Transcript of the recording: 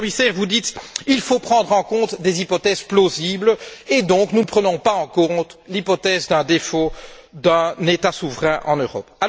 Monsieur le Commissaire, vous dites qu'il faut prendre en compte des hypothèses plausibles et donc nous ne prenons pas en compte l'hypothèse d'un défaut d'un État souverain en Europe.